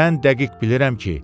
Mən dəqiq bilirəm ki,